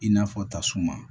I n'a fɔ tasuma